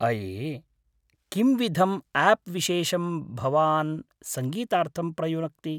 अये! किंविधम् आप् विशेषं भवान् संगीतार्थं प्रयुनक्ति?